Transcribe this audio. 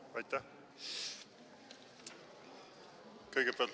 Aitäh!